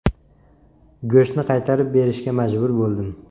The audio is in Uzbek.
Go‘shtni qaytarib berishga majbur bo‘ldim.